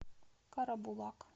карабулак